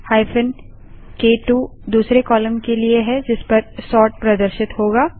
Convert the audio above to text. hyphen क2 दूसरे column के लिए है जिसपर सोर्ट प्रदर्शित होगा